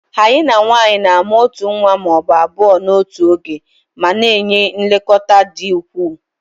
Hyenan nwanyị na-amụ otu nwa ma ọ bụ abụọ n'otu oge ma na-enye nlekọta dị ukwuu